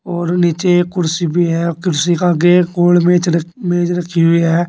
और नीचे एक कुर्सी भी है और कुर्सी का आगे एक और मेज रख मेज रखी हुई है।